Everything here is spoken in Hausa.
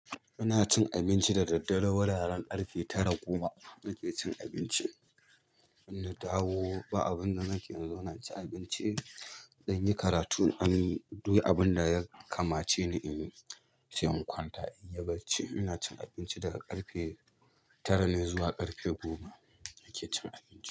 Ina cin abinci da daddare, wuraren ƙarfe tara goma nake cin abinci. In na dawo ba abin da nake yanzu, ina cin abinci, zan yi karatu. An yi duk abin da ya kamace ni in yi, sai in kwanta in yi barci. Ina cin abinci daga ƙarfe tara ne zuwa ƙarfe goma nake cin abinci.